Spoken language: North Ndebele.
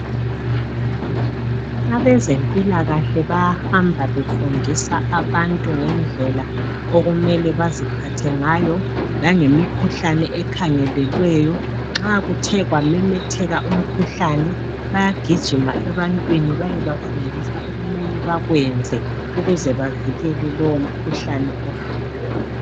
Abezempilakahle bahamba befundisa abantu ngendlela okumele baziphathe ngayo langemikhuhlane ekhangelelweyo. Nxa kuthe kwamemetheka umkhuhlane, bayagijima ebantwini bayebafundisa okumele bakwenze ukuze bavikele lowo mkhuhlane osukhona.